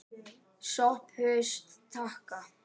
SOPHUS: Þakka.